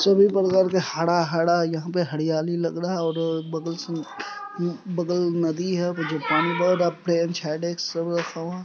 सभी प्रकार के हरा हरा यहाँ पे हरयाली लग रहा है और बगल सब बगल नदी है और पानी बह रहा है।